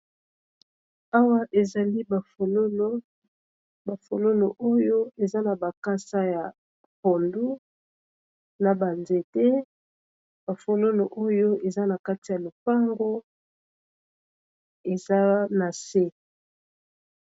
Awa ezali ba folono bafolono oyo eza na bakasa ya pondo na banzete ba folono oyo eza na kati ya lopango eza na se.